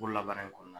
La baara in kɔnɔ